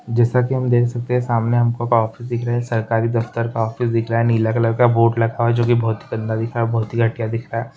जैसा कि हम देख सकते हैं सामने हमको का ऑफिस दिख रहे हैं सरकारी दफ्तर का ऑफिस दिख रहा है नीला कलर का बोर्ड लगा है जो की बहुत ही गंदा दिख रहा है बहुत ही घटिया दीख रहा है।